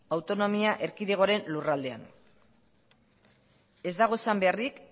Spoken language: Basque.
autonomia erkidegoaren lurraldean ez dago esan beharrik